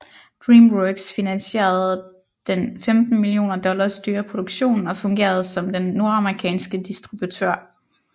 Dreamworks finansierede den 15 millioner dollars dyre produktion og fungerede som den nordamerikanske distributør